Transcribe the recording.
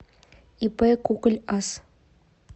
ип куколь ас